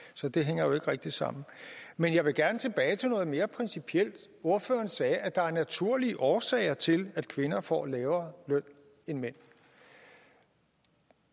så det hænger jo ikke rigtig sammen men jeg vil gerne tilbage til noget mere principielt ordføreren sagde at der er naturlige årsager til at kvinder får lavere løn end mænd